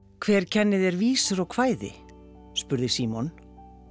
hver kennir þér vísur og kvæði spurði Símon